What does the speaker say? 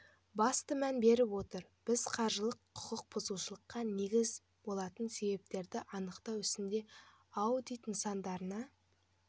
басты мән беріп отыр біз қаржылық құқық бұзушылыққа негіз болатын себептерді анықтау ісінде аудит нысандарына